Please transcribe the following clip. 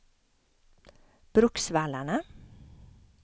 Bruksvallarna